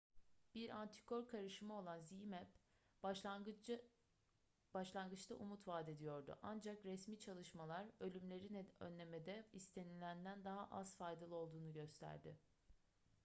bir antikor karışımı olan zmapp başlangıçta umut vadediyordu ancak resmi çalışmalar ölümleri önlemede istenilenden daha az faydalı olduğunu gösterdi